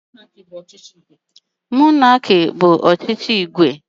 Monarki bụ ọchịchị igwe maọbu nwunye igwe.